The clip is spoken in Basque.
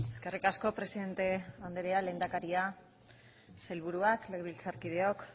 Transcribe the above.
eskerrik asko presidente andrea lehendakaria sailburuak legebiltzarkideok